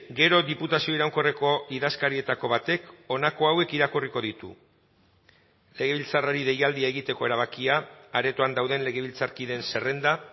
gero diputazio iraunkorreko idazkarietako batek honako hauek irakurriko ditu legebiltzarrari deialdia egiteko erabakia aretoan dauden legebiltzarkideen zerrenda